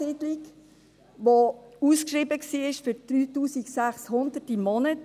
Es war ausgeschrieben für 3600 Franken pro Monat.